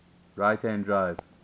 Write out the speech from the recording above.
right hand drive